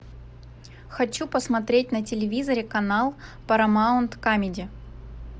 хочу посмотреть на телевизоре канал парамаунт камеди